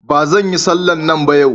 Ba zan yi sallah a nan yau.